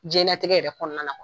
Diɲɛnnatigɛ yɛrɛ kɔnɔna kuwa